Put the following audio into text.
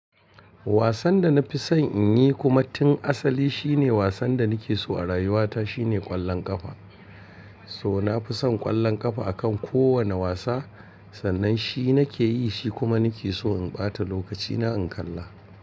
Wasan da na fi son in yi kuma tun asali shine wasan da na ke so a rayuwata shine ƙwallon ƙafa. So na fi son ƙwallon ƙafa akan kowane wasa, sannan shi na ke yi shi kuma na ke so in ɓata lokaci na in kalla.